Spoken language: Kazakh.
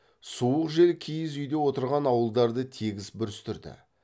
суық жел киіз үйде отырған ауылдарды тегіс бүрістірді